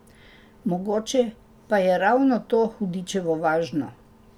Mogoče pa je ravno to hudičevo važno.